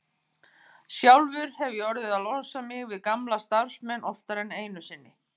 Sjálfur hef ég orðið að losa mig við gamla starfsmenn oftar en einu sinni.